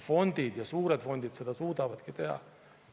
Fondid ja suured fondid seda suudavadki teha.